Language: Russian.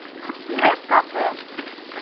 неткафе